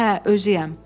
Hə, özüyəm.